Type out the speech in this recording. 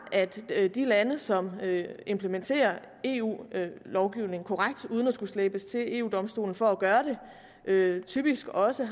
at de lande som implementerer eu lovgivningen korrekt uden at skulle slæbes til eu domstolen for at gøre det typisk også